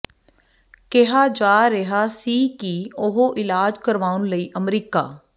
ਕਿਹਾ ਜਾ ਰਿਹਾ ਸੀ ਕਿ ਉਹ ਇਲਾਜ ਕਰਵਾਉਣ ਲਈ ਅਮਰੀਕਾ